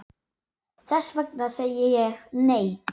Þess vegna segi ég, nei!